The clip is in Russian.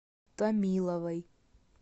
томиловой